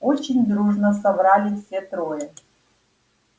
очень дружно соврали все трое